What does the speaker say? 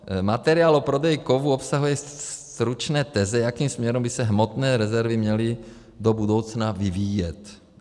Materiál o prodeji kovů obsahuje stručné teze, jakým směrem by se hmotné rezervy měly do budoucna vyvíjet.